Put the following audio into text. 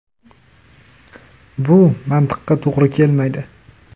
‘Bu mantiqqa to‘g‘ri kelmaydi’.